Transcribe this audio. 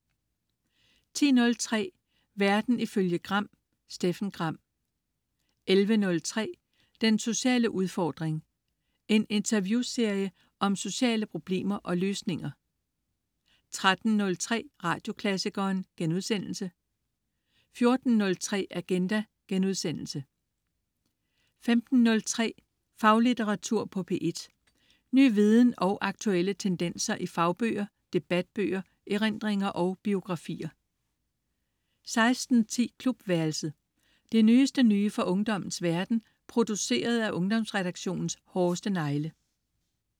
10.03 Verden ifølge Gram. Steffen Gram 11.03 Den sociale udfordring. En interviewserie om sociale problemer og løsninger 13.03 Radioklassikeren* 14.03 Agenda* 15.03 Faglitteratur på P1. Ny viden og aktuelle tendenser i fagbøger, debatbøger, erindringer og biografier 16.10 Klubværelset. Det nyeste nye fra ungdommens verden, produceret af Ungdomsredaktionens hårdeste negle